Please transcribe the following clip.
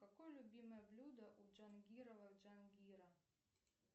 какое любимое блюдо у джангирова джангира